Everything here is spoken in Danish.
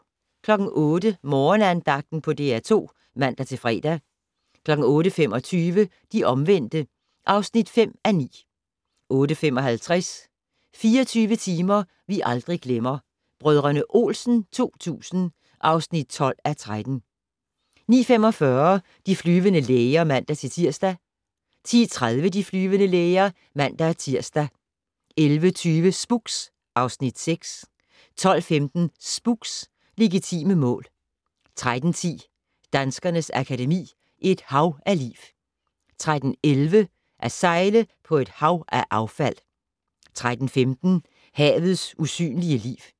08:00: Morgenandagten på DR2 (man-fre) 08:25: De omvendte (5:9) 08:55: 24 timer vi aldrig glemmer - Brdr. Olsen 2000 (12:13) 09:45: De flyvende læger (man-tir) 10:30: De flyvende læger (man-tir) 11:20: Spooks (Afs. 6) 12:15: Spooks: Legitime mål 13:10: Danskernes Akademi: Et hav af liv 13:11: At sejle på et hav af affald 13:15: Havets usynlige liv